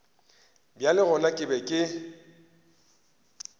bjale gona ke be ke